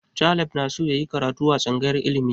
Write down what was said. Caleb na so yayi karatu a tsangayar ilimi